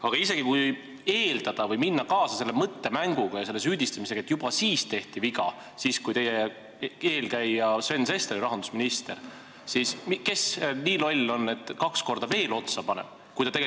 Aga isegi kui minna kaasa selle mõttemänguga ja selle süüdistamisega, et juba siis tehti viga – siis, kui teie eelkäija Sven Sester oli rahandusminister –, siis kes see nii loll on, et ta aktsiisi kahekordselt veel otsa paneb?